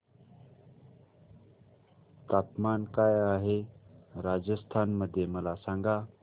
तापमान काय आहे राजस्थान मध्ये मला सांगा